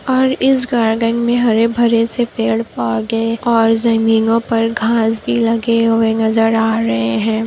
और इस गार्डन मे हरे भरे से पेड़-पौधे और ज़मीनों पर घास भी लगे हुए नजर आ रहे है ।